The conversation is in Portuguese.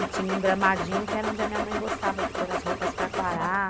E tinha um gramadinho que era onde a minha mãe gostava de pôr as roupas para quarar.